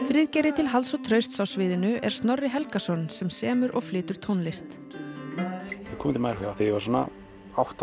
Friðgeiri til halds og trausts á sviðinu er Snorri Helgason sem semur og flytur tónlist ég kom til Mallorca þegar ég var svona átta